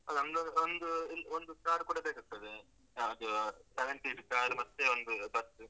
ನಮ್ದು ಒಂದು, ಒಂದು car ಕೂಡ ಬೇಕಾಗ್ತದೆ. ಅಹ್, ಅದು seventy ದು car ಮತ್ತೆ ಒಂದು bus .